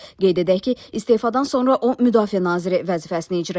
Qeyd edək ki, istefadan sonra o müdafiə naziri vəzifəsini icra edəcək.